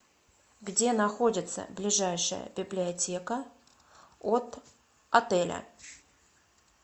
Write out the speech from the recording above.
где находится ближайшая библиотека от отеля